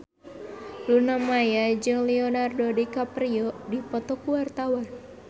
Luna Maya jeung Leonardo DiCaprio keur dipoto ku wartawan